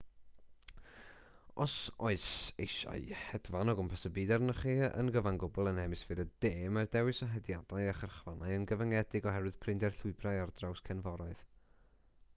os oes eisiau hedfan o gwmpas y byd arnoch chi yn gyfan gwbl yn hemisffer y de mae'r dewis o hediadau a chyrchfannau yn gyfyngedig oherwydd prinder llwybrau ar draws cefnforoedd